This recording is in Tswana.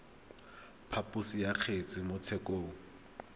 phaposo ya kgetse mo tshekong